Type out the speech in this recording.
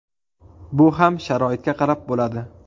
Bu ham sharoitga qarab bo‘ladi.